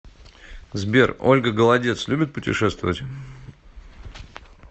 сбер ольга голодец любит путешествовать